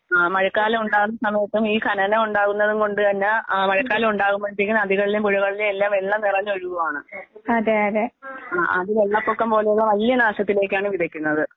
ആഹ് മഴക്കാലം ഉണ്ടാകുന്ന സമയത്തും ഈ ഖനനം ഉണ്ടാകുന്നതും കൊണ്ടുതന്നെ ആഹ് മഴക്കാലം ഉണ്ടാവുമ്പോഴത്തേക്കും നദികളിലെയും, പുഴകളിലെയും എല്ലാം വെള്ളം നിറഞ്ഞ് ഒഴുകുവാണ്. ആഹ് ആത് വെള്ളപ്പൊക്കം പോലെയുള്ള വല്യ നാശത്തിലേക്കാണ് വിതയ്ക്കുന്നത്.